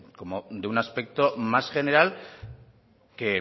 como de un aspecto más general que